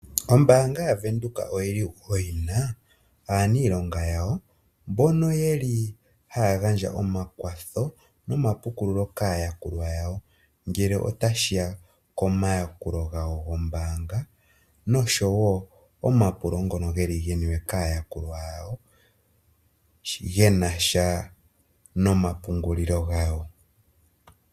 Ombaanga yaWindhoek oyili wo yina aaniilonga yawo mbono yeli haya gandja omakwatho nomapukululo kaayakulwa yawongele otashiya komayakulo gawo gombaanga noshowo omapulo ngono geli geni we kaayakulwa yawo gena sha noompungulilo gawo.